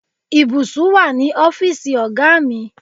Ìbùsùn wà ní ọ́fíìsì ọ̀gá mi.